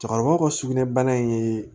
Cɛkɔrɔbaw ka sugunɛ bara in ye